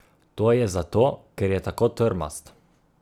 To je zato, ker je tako trmast.